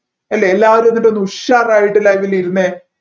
അല്ലെ എല്ലാവരും എന്നിട്ട് ഒന്നുഷാറായിട്ട് live ൽ ഇരുന്നേ